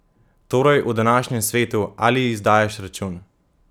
Torej, v današnjem svetu: "Ali izdajaš račun?